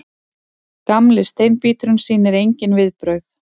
Gamli steinbíturinn sýnir engin viðbrögð.